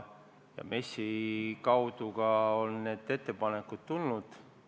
MES-i kaudu on ka need ettepanekud tulnud.